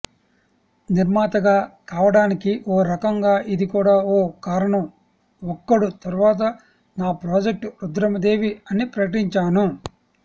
నిర్మాతగా కావడానికి ఓ రకంగా ఇది కూడా ఓ కారణం ఒక్కడు తర్వాత నా ప్రాజెక్ట్ రుద్రమదేవి అని ప్రకటించాను